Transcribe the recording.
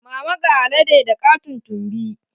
Mama ga alade da katon tumbi